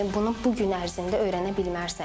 Sən bunu bu gün ərzində öyrənə bilməzsən.